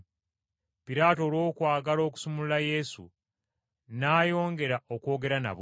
Piraato olw’okwagala okusumulula Yesu, n’ayongera okwogera nabo.